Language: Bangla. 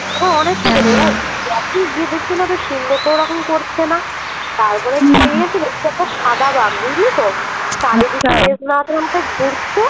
দেখি দেখি সিংহ তো এরকম করছে না তারপর দেখি সাদা বাঘ বুজলি তো চারিদিকে ঘুরছে